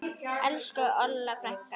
Elsku Olla frænka.